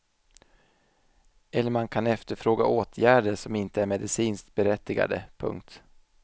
Eller man kan efterfråga åtgärder som inte är medicinskt berättigade. punkt